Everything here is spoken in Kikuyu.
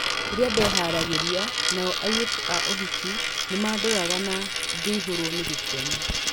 Rĩrĩa ndeharagĩrĩria nao airĩtu a ũhiki nĩmandoraga na ngĩihũrwo nĩ gĩkeno.